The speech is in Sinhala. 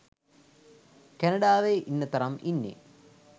කැනඩාවේ ඉන්න තරම් ඉන්නේ